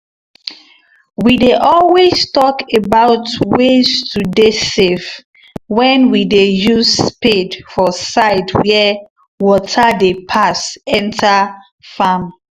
we dey always talk about ways to dey safe wen we dey use spade for side where water dey pass enter farm